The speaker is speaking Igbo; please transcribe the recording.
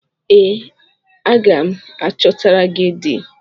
Ee, aga m achọtara gị di